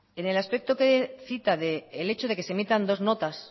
en el aspecto que cita del hecho de que se emitan dos notas